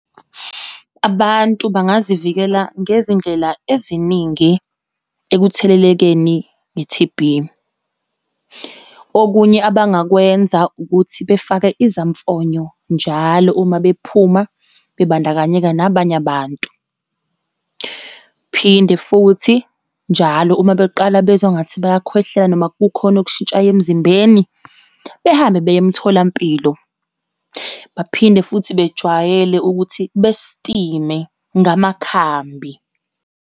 Abantu bangazivikela ngezindlela eziningi ekuthelelekeni nge-T_B. Okunye abangakwenza ukuthi, befake izamfonyo njalo uma bephuma bebandakanyeka nabanye abantu, phinde futhi njalo uma beqala bezwa ngathi bayakhwehlela, noma kukhona okushintshayo emzimbeni, behambe beye emtholampilo. Baphinde futhi bejwayele ukuthi besitime, ngamakhambi.